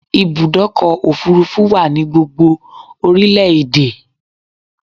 Ibùdọ́kọ̀ òfurufú wa ni gbogbo orílẹ̀ èdè